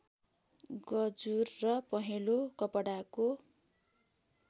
गजुर र पहेँलो कपडाको